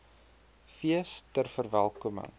fees ter verwelkoming